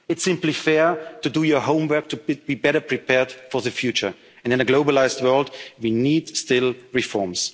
solidarity. It's simply fair to do your homework, to be better prepared for the future, and in a globalised world, we